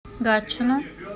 гатчину